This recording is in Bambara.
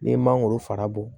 N'i ye mangoro fara bɔ